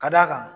Ka d'a kan